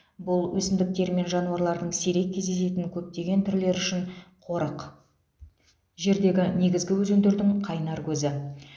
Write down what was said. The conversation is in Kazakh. бұл өсімдіктер мен жануарлардың сирек кездесетін көптеген түрлері үшін қорық жердегі негізгі өзендердің қайнар көзі